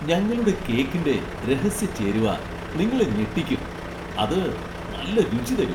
ഞങ്ങളുടെ കേക്കിന്റെ രഹസ്യ ചേരുവ നിങ്ങളെ ഞെട്ടിക്കും, അത് നല്ല രുചി തരും.